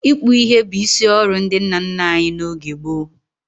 Ịkpụ ihe bụ isi ọrụ ndị nna nna anyị n'oge gboo.